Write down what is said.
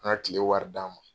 An kile wari d'a ma.